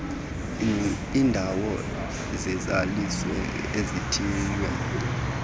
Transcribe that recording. iindawo zezelizwe ezithiywe